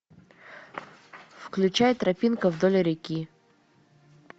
включай тропинка вдоль реки